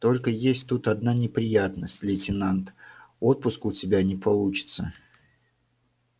только есть тут одна неприятность лейтенант отпуска у тебя не получится